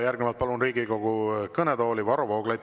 Järgnevalt palun Riigikogu kõnetooli Varro Vooglaiu.